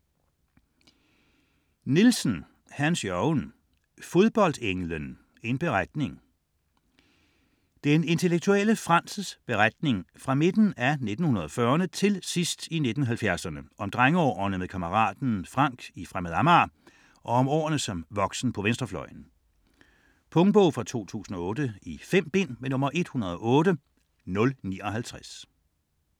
Nielsen, Hans-Jørgen: Fodboldenglen: en beretning Den intellektuelle Frands' beretning fra midten af 1940'rne til sidst i 1970'erne om drengeårene med kammeraten Frank i Fremad Amager og om årene som voksen på venstrefløjen. Punktbog 108059 2008. 5 bind.